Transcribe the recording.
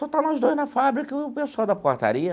Só está nós dois na fábrica e o pessoal da portaria.